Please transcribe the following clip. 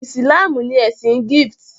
Ìsìlámù ní ẹsìn Gift.